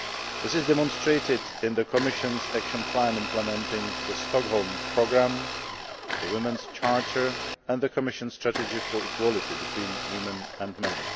This is demonstrated in the Commission's action plan implementing the Stockholm Programme, the Women's Charter and the Commission's strategy for equality between women and men.